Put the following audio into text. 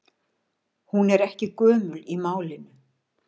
Hún er ekki gömul í málinu.